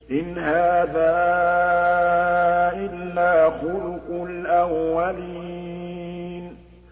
إِنْ هَٰذَا إِلَّا خُلُقُ الْأَوَّلِينَ